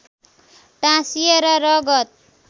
टाँसिएर रगत